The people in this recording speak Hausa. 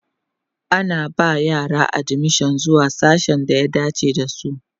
ana ba yara admission zuwa sasshen da ya dace da su